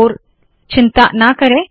ओर चिंता ना करे